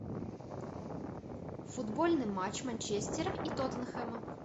футбольный матч манчестера и тоттенхэма